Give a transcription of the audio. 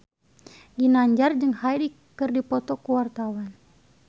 Ginanjar jeung Hyde keur dipoto ku wartawan